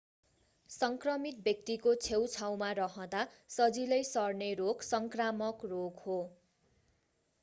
संक्रमित व्यक्तिको छेउछाउमा रहँदा सजिलै सर्ने रोग संक्रामक रोग हो